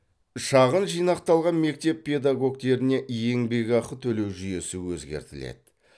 шағын жинақталған мектеп педагогтеріне еңбекақы төлеу жүйесі өзгертіледі